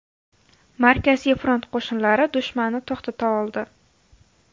Markaziy front qo‘shinlari dushmanni to‘xtata oldi.